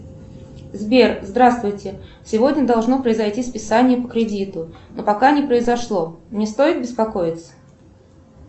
сбер здравствуйте сегодня должно произойти списание по кредиту но пока не произошло мне стоит беспокоиться